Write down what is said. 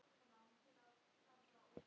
Hvað borðar þú um jólin?